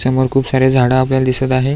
समोर खुप सारे झाड आपल्याला दिसत आहे.